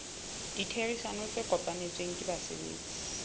ditherisano tse kopanetsweng ke basebetsi